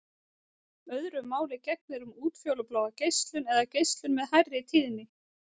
Öðru máli gegnir um útfjólubláa geislun eða geislun með hærri tíðni.